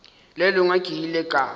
le lengwe ke ile ka